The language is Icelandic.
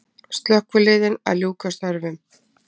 Slökkviliðin að ljúka störfum